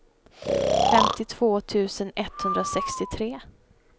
femtiotvå tusen etthundrasextiotre